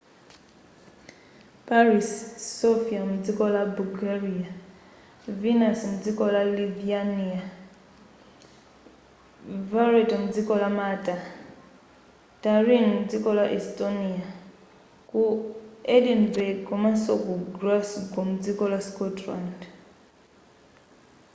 ziwonetsero zidalikonso ku paris sofia mdziko la bulgaria vilnius mdziko la lithuania valetta mdziko la malta tallinn mdziko la estonia ku edinburgh komanso ku glasgow mdziko la scotland